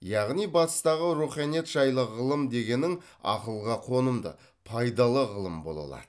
яғни батыстағы руханият жайлы ғылым дегенің ақылға қонымды пайдалы ғылым бола алады